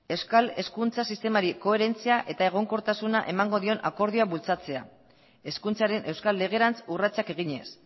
euskal hezkuntza sistemari koherentzia eta egonkortasuna emango dion akordioa bultzatzea hezkuntzaren euskal legerantz urratsak eginez